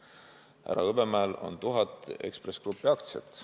Härra Hõbemäel on tuhat Ekspress Grupi aktsiat.